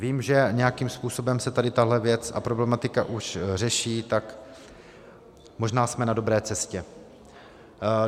Vím, že nějakým způsobem se tady tahle věc a problematika už řeší, tak možná jsme na dobré cestě.